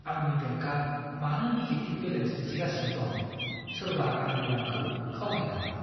आंनि बेंकआ मानो निगेटिभ बेलेन्स दिन्थिगासिनो दं? सोरबा आंनि रांखौ खावबाय नामा?